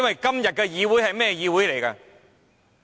今天的議會是怎樣的呢？